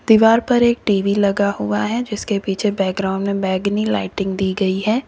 दीवार पर एक टी_वी लगा हुआ है जिसके पीछे बैकग्राउंड में बैंगनी लाइटिंग दी गई है।